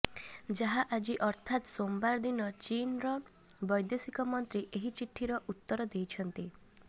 ଯାହା ଆଜି ଅର୍ଥାତ ସୋମବାର ଦିନ ଚୀନ୍ର ବୈଦେଶୀକ ମନ୍ତ୍ରୀ ଏହି ଚୀଠିର ଉତ୍ତର ଦେଇଛନ୍ତି